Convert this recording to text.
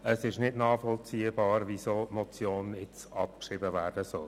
Es ist nicht nachvollziehbar, weshalb diese Motion nun abgeschrieben werden soll.